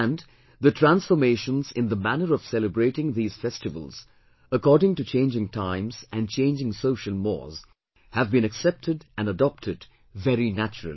And, the transformations in the manner of celebrating these festivals according to changing times and changing social mores have been accepted and adopted very naturally